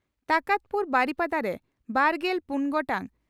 ᱴᱟᱠᱟᱛᱯᱩᱨ ᱵᱟᱨᱤᱯᱟᱫᱟ) ᱨᱮ ᱵᱟᱨᱜᱮᱞ ᱯᱩᱱ ᱜᱚᱴᱟᱝ